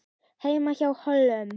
HEIMA Á HÓLUM